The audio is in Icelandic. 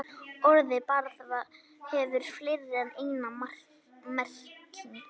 Orðið barð hefur fleiri en eina merkingu.